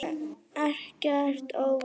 Og ekkert óvænt.